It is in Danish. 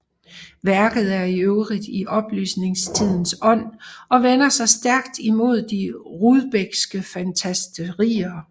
Værket er i øvrigt i oplysningstidens ånd og vender sig stærkt imod de Rudbeckske fantasterier